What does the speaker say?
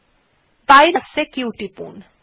বাইরে আসতে q টিপুন